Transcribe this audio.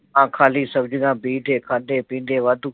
ਹਾਂ, ਖਾਲੀਆਂ ਸਬਜ਼ੀਆਂ ਬੀਜਦੇ, ਖਾਂਦੇ ਪੀਂਦੇ ਵਾਧੂ